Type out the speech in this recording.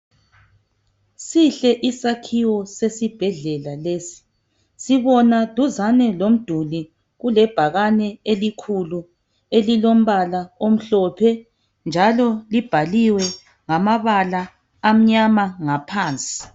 Sihle isakhiwo sesibhedlela lesi. Sibona duzane lomduli, kulebhakane elikhulu elilombala omhlophe, njalo libhaliwe ngamabala amnyama ngaphansi.